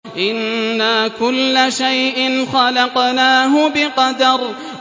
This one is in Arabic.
إِنَّا كُلَّ شَيْءٍ خَلَقْنَاهُ بِقَدَرٍ